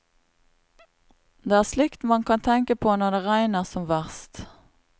Det er slikt man kan tenke på når det regner som verst.